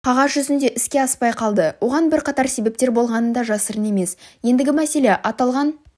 қағаз жүзінде іске аспай қалды оған бірқатар себептер болғаны да жасырын емес ендігі мәселе аталған